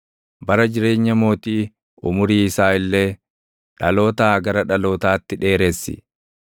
Bara jireenya mootii, umurii isaa illee dhalootaa gara dhalootaatti dheeressi.